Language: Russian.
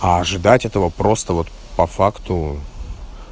а ожидать этого просто вот по факту